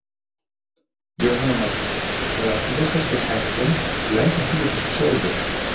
Jóhanna Margrét: Þannig að þú varst kannski heppinn að lenda ekki í þessu sjálfur?